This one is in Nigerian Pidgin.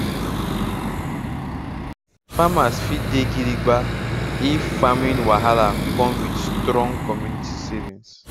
farmer fit dey gidigba if farming wahala come with strong community savings